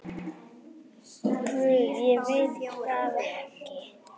Guð, ég veit það ekki.